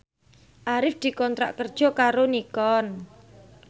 Arif dikontrak kerja karo Nikon